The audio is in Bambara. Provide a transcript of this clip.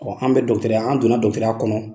an bɛ dɔgɔtɔrɔya an donna dɔgɔtɔrɔya kɔnon